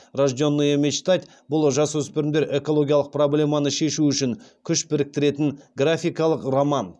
рожденные мечтать бұл жасөспірімдер экологиялық проблеманы шешу үшін күш біріктіретін графикалық роман